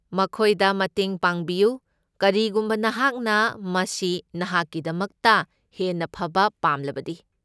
ꯃꯈꯣꯏꯗ ꯃꯇꯦꯡ ꯄꯥꯡꯕꯤꯌꯨ, ꯀꯔꯤꯒꯨꯝꯕ ꯅꯍꯥꯛꯅ ꯃꯁꯤ ꯅꯍꯥꯛꯀꯤꯗꯃꯛꯇ ꯍꯦꯟꯅ ꯐꯕ ꯄꯥꯝꯂꯕꯗꯤ꯫